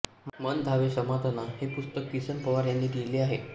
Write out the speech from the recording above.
मन् धावे समाधाना हे पुस्तक किसन पवार याने लिहिले आहे